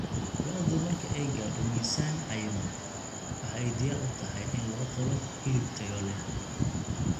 Lo�du marka ay gaadho miisaan cayiman, waxa ay diyaar u tahay in loo qalo hilib tayo leh.